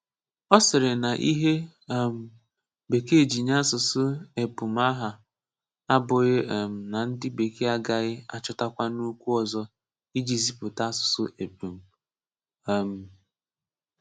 Ọ sịrị na ihe um Bekee ji nye asụ̀sụ́ épụ̀m aha a abụghị um na ndị Bekee agaghị achọ̀tákwanụ okwu ọzọ iji zipụta asụ̀sụ́ épụ̀m. um